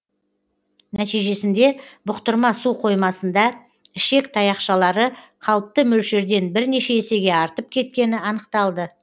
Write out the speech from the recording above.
нәтижесінде бұқтырма су қоймасында ішек таяқшалары қалыпты мөлшерден бірнеше есеге артып кеткені анықталды